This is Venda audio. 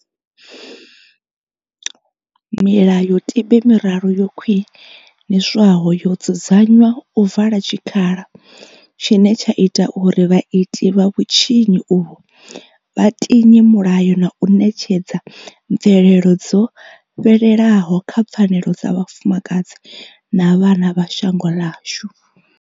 Milayotibe miraru yo khwiniswaho yo dzudzanywa u vala tshikhala tshine tsha ita uri vhaiti vha vhutshinyi uvhu vha tinye mulayo na u ṋetshedza mvelelo dzo fhelelaho kha pfanelo dza vhafumakadzi na vhana vha shango ḽashu.